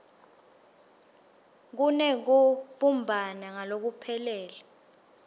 kunekubumbana ngalokuphelele